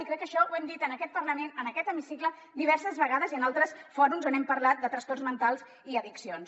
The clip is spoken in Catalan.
i crec que això ho hem dit en aquest parlament en aquest hemicicle diverses vegades i en altres fòrums on hem parlat de trastorns mentals i addiccions